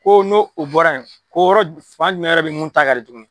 Ko n'o o bɔra yen, ko yɔrɔ fan jumɛn wɛrɛ be yen mun ta ka di tugun ?